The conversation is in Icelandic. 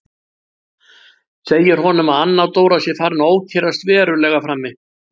Segir honum að Anna Dóra sé farin að ókyrrast verulega frammi.